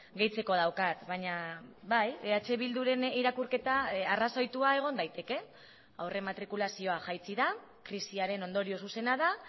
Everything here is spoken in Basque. gehitzeko daukat baina bai eh bilduren irakurketa arrazoitua egon daiteke aurre matrikulazioa jaitsi da krisiaren ondorio zuzena da